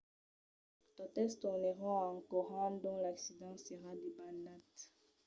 totes tornèron en corrent d'ont l'accident s'èra debanat